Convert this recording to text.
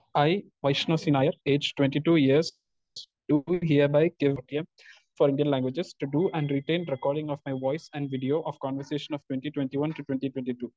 Speaker 2 I, Vaishnav C Nair age twenty two years do hereby give ഇം for Indian languages to do and written recording of my voice and video of conversation of twenty twenty one to twenty twenty two.